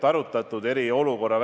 Aitäh!